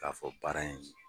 K'a fɔ baara in